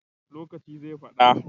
Lokaci zai fada